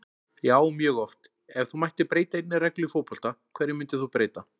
Já mjög oft Ef þú mættir breyta einni reglu í fótbolta, hverju myndir þú breyta?